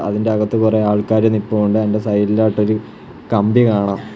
അതിൻ്റെ അകത്ത് കൊറെ ആൾക്കാര് നിപ്പൊണ്ട് അതിൻ്റെ സൈഡിലായിട്ടൊരു കമ്പി കാണാം.